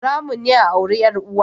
Haramun ne a auri 'yar uwa